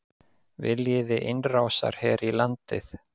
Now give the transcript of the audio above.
Viljiði innrásarher í landið?